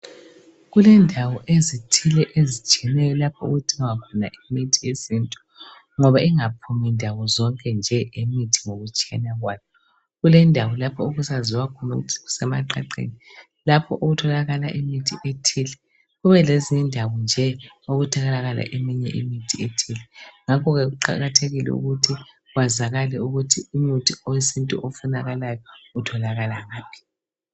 Kulendawo ezithile ezitshiyeneyo lapho okudingwa khona imithi yesintu ngoba ingaphumi ndawozonke nje imithi ngokutshiyana kwayo. Kulendawo lapho okusaziwa khona ukuthi kusemaqaqeni lapho okutholakala imithi ethile, kubelezindawo nje okutholakala eminye imithi ethile. Ngakho-ke kuqakathekile ukuthi kwazakale ukuthi umuthi owesintu ofunakalayo utholakala ngaphi.